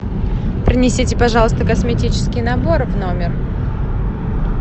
принесите пожалуйста косметический набор в номер